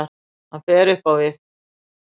Hann fer upp á við.